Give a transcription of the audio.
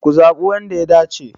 Ku zaɓi wanda ya dace!